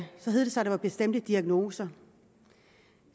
hed det sig at det var bestemte diagnoser